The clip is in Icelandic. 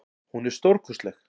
Hún er stórkostleg.